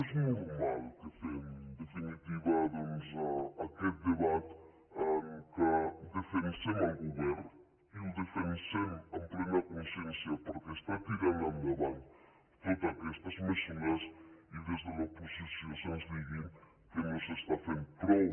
és normal que fem en definitiva doncs aquest debat en què defensem el govern i el defensem amb plena consciència perquè està tirant endavant totes aquestes mesures i des de l’oposició se’ns digui que no s’està fent prou